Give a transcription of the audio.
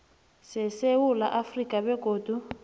sesewula afrika begodu